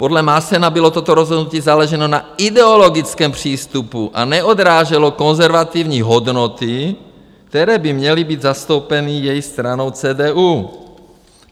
- Podle Maassena bylo toto rozhodnutí založeno na ideologickém přístupu a neodráželo konzervativní hodnoty, které by měly být zastoupeny její stranou CDU.